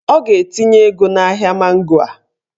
Ọ ga-etinye ego n'ahịa mango a